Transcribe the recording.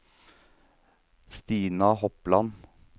Stina Hopland